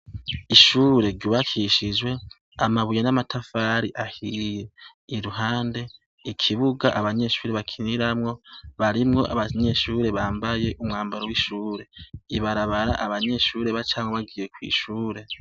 Ishure ryubakishijwe amabuye n' amatafari ahiye. Iruhande , ikibuga abanyeshure bakiniramwo , barimwo abanyeshure bambaye umwambaro w'ishire. Ibarabara abanyeshure bacamwo bagiye kw' ishure .